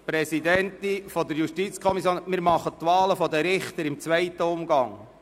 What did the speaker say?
Frau JuKoPräsidentin, die Wahlen der Richter folgen im zweiten Umgang.